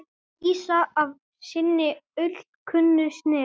lýsa af sinni alkunnu snilld.